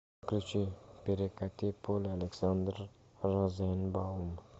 включи перекати поле александр розенбаум